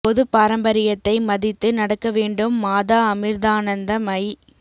பொது பாரம்பரியத்தை மதித்து நடக்க வேண்டும் மாதா அமிர்தானந்த மயி